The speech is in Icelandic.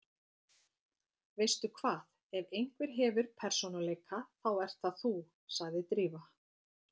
Veistu hvað, ef einhver hefur persónuleika þá ert það þú- sagði Drífa.